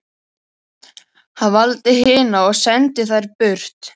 Hann valdi hina og sendi þær burt.